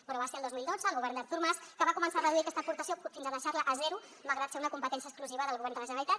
però va ser el dos mil dotze el govern d’artur mas que va començar a reduir aquesta aportació fins a deixar la a zero malgrat ser una competència exclusiva del govern de la generalitat